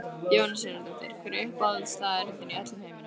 Jóhanna Sigurðardóttir Hver er uppáhaldsstaðurinn þinn í öllum heiminum?